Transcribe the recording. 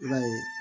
I b'a ye